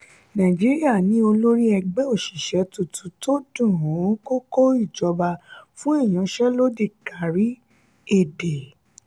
nàìjíríà ní olórí ẹgbẹ oṣiṣẹ tuntun tó dún-kókò ìjọba fún iyanse lodi kárí èdè.